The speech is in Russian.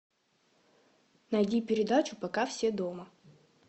найди передачу пока все дома